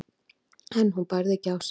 en hún bærði ekki á sér.